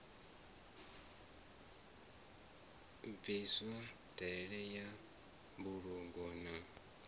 bviswe ndaela ya mbulungo na